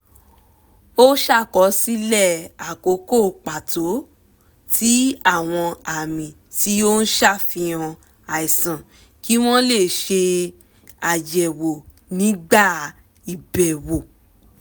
ó ṣàkọsílẹ̀ àkókò pàtó tí àwọn àmì tí ó ń ṣàfihàn àìsàn kí wọ́n lè ṣe àyẹ̀wò nígbà ìbẹ̀wò